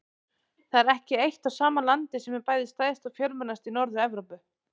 Það er ekki eitt og sama landið sem er bæði stærst og fjölmennast í Norður-Evrópu.